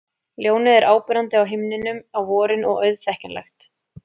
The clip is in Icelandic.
Ljónið er áberandi á himninum á vorin og auðþekkjanlegt.